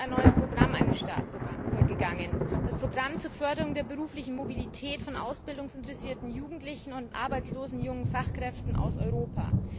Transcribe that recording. in Deutschland ein neues Programm begonnen, das Programm zur Förderung der beruflichen Mobilität von ausbildungsinteressierten Jugendlichen und arbeitslosen jungen Fachkräften aus Europa.